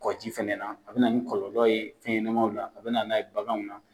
Kɔ ji fɛnɛ na a bina nin kɔlɔlɔ ye fɛnɛɲɛnamaw na a bina n'a ye baganw na.